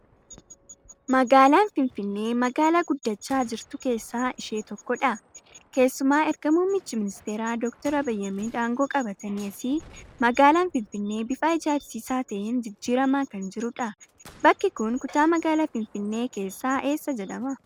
Magaalaan Finfinnee magaalaa guddachaa jirtu keessaa ishee tokkodha. Keessuma erga Mummichi Ministeeraa Doktor Abiy Ahimad angoo qabatanii asii magaalaan Finfinnee bifa ajaa'ibsiisaa ta'een jijjirramaa kan jirudha. Bakki kun kutaa magaalaa Finfinnee keessaa eessa jedhama?